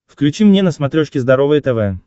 включи мне на смотрешке здоровое тв